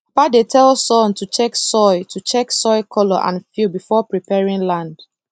papa dey tell son to check soil to check soil color and feel before preparing land